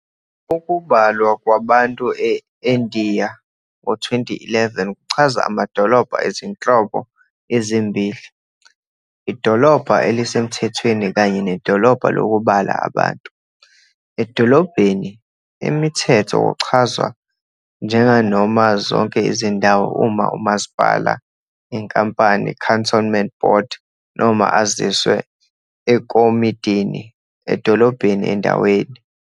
Ukubalwa kwabantu eNdiya ngo-2011 kuchaza amadolobha ezinhlobo ezimbili- idolobha elisemthethweni kanye nedolobha lokubala abantu. Edolobheni emithetho kuchazwa njenganoma zonke izindawo nge umasipala, inkampani, Cantonment ibhodi noma aziswe ekomidini edolobheni endaweni.